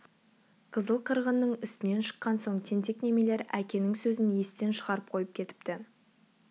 қызыл қырғынның үстінен шыққан соң тентек немелер әкенің сөзін естен шығарып қойып кетіпті